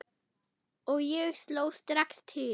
Og ég sló strax til.